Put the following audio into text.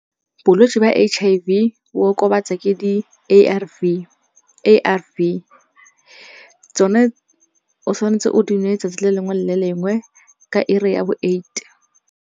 Bolwetse ba H_I_V bo okobatsa ke di A_R_V. Tsone o tshwanetse o di nwe letsatsi le lengwe le lengwe ka ura ya bo eight.